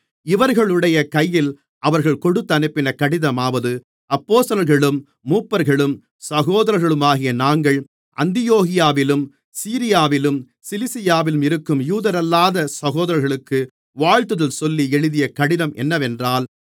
இவர்களுடைய கையில் அவர்கள் கொடுத்தனுப்பின கடிதமாவது அப்போஸ்தலர்களும் மூப்பர்களும் சகோதரர்களுமாகிய நாங்கள் அந்தியோகியாவிலும் சீரியாவிலும் சிலிசியாவிலும் இருக்கும் யூதரல்லாத சகோதரர்களுக்கு வாழ்த்துதல் சொல்லி எழுதிய கடிதம் என்னவென்றால்